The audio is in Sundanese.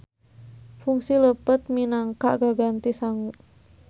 Fungsi leupeut minangka gaganti sangu.